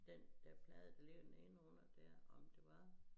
Den dér plade der ligger den inden under dér om det var